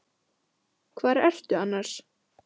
Hvar ertu annars?